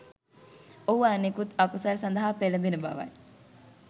ඔහු අනෙකුත් අකුසල් සඳහා පෙළඹෙන බවයි.